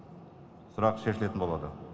сұрақ шешілетін болады